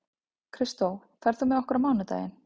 Kristó, ferð þú með okkur á mánudaginn?